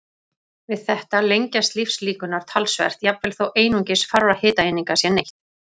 Við þetta lengjast lífslíkurnar talsvert, jafnvel þó einungis fárra hitaeininga sé neytt.